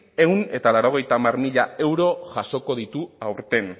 ehun eta laurogeita hamar mila euro jasoko ditu aurten